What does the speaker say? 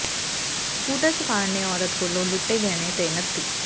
scooter ਸਵਾਰ ਨੇ ਔਰਤ ਕੋਲੋਂ ਲੁੱਟੇ ਗਹਿਣੇ ਤੇ ਨਕਦੀ